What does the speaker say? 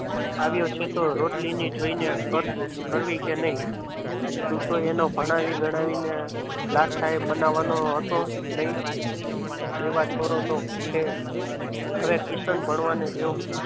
આવે છે તો રોટલી જોઈને કરવી કે નહીં તું તો એને ભણાવી ગણાવીને લાડ સાહેબ બનાવવાનો હતો નહીં દેવા છોરો તો છે હવે કિશન ભણવાની રહ્યો.